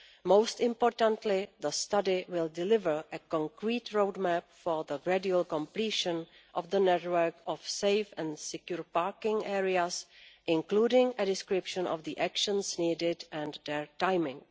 Most importantly, the study will deliver a concrete roadmap for the gradual completion of the network of safe and secure parking areas, including a description of the actions needed and their timing.